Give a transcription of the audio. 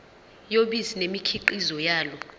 yobisi nemikhiqizo yalo